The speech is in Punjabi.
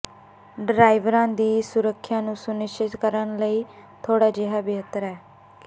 ਡਰਾਈਵਰਾਂ ਦੀ ਸੁਰੱਖਿਆ ਨੂੰ ਸੁਨਿਸ਼ਚਿਤ ਕਰਨ ਲਈ ਥੋੜ੍ਹਾ ਜਿਹਾ ਬਿਹਤਰ ਹੈ